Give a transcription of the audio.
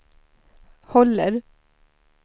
håller